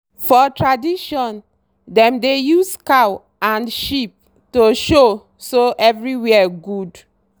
for tradition dem dey use cow and sheep to show so everywhere good.